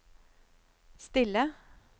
stille